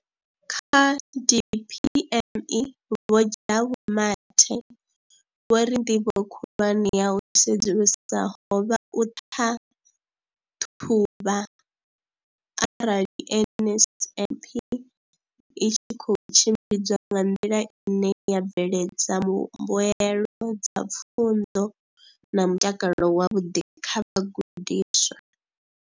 Kha DPME, Vho Jabu Mathe, vho ri ndivho khulwane ya u sedzulusa ho vha u ṱhaṱhuvha arali NSNP i tshi khou tshimbidzwa nga nḓila ine ya bveledza mbuelo dza pfunzo na mutakalo wavhuḓi kha vhagudiswa.